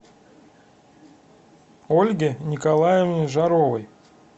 ольге николаевне жаровой